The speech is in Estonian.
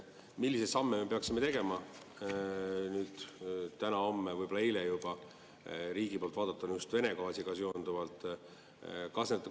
Milliseid samme me peaksime tegema täna, homme, võib‑olla juba eile riigi poolt vaadatuna just Vene gaasiga seonduvalt?